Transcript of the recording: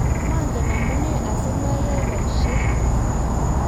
mangen amune asimayae boisiet